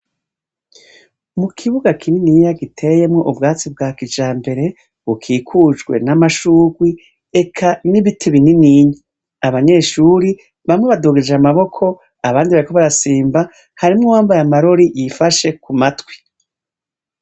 Mukibuga kininiya giteyemwo ubwatsi bwakijambere bukikujwe n'amashurwe eka nibi bininiya. Abanyeshure bamwe badugije amaboko, abandi bariko barasimba hari nuwamabaye amarori yifashe kumatwi.